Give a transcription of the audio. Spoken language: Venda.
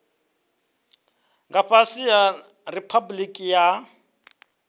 nga fhasi ha riphabuliki ya